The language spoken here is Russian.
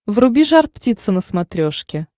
вруби жар птица на смотрешке